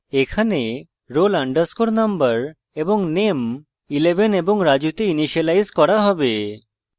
এখানে roll _ number এবং name 11 এবং raju তে ইনিসিয়েলাইজ করা হবে